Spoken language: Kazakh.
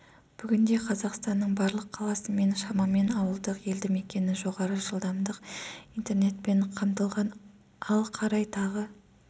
бүгінде қазақстанның барлық қаласы мен шамамен ауылдық елді мекені жоғары жылдамдықты интернетпен қамтылған ал қарай тағы